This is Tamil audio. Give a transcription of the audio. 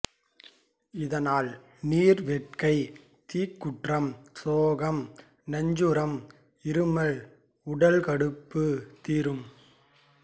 இதனால் நீர் வேட்கை தீக்குற்றம் சோகம் நஞ்சுச்சுரம் இருமல் உடல் கடுப்பு தீரும்